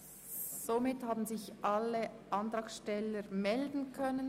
Somit haben sich alle Antragsteller melden können.